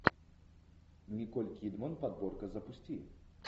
николь кидман подборка запусти